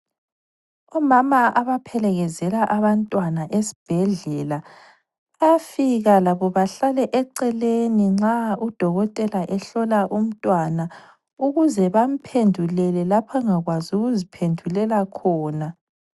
Omama abaphelekezela abantwana esibhedlela bayafika labo bahlale eceleni nxa udokotela ehlola umntwana ukuze bamphendulele lapho angakwazi ukuziphendulela khona.